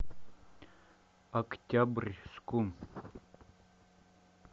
октябрьску